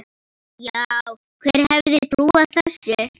Já, hver hefði trúað þessu?